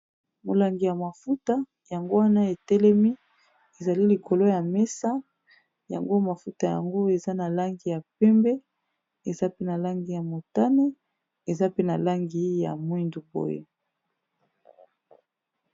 Molangi ya mafuta, yango wana etelemi, ezali likolo ya mesa. Yango mafuta yango, eza na langi ya pembe. Eza pe na langi ya motane. Eza pe na langi ya mwindu boye.